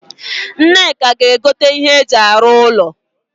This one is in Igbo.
Nneka ga egote ihe eji aru ulo